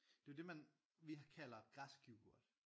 Det er jo det man vi kalder græsk yoghurt